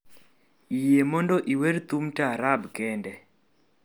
yie mondo iwer thum taarab kende